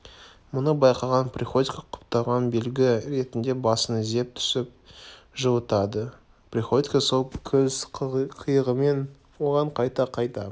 мұны байқаған приходько құптаған белгі ретінде басын изеп түсін жылытады приходько сол көз қиығымен оған қайта-қайта